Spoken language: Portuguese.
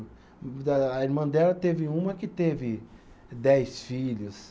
Da, a irmã dela teve uma que teve dez filhos.